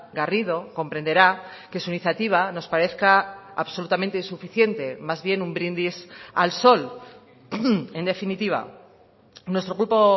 garrido comprenderá que su iniciativa nos parezca absolutamente insuficiente más bien un brindis al sol en definitiva nuestro grupo